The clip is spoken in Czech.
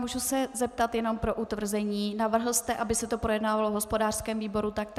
Mohu se zeptat jen pro utvrzení: Navrhl jste, aby se to projednávalo v hospodářském výboru taktéž?